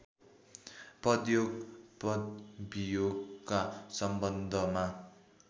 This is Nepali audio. पदयोग पदवियोगका सम्बन्धमा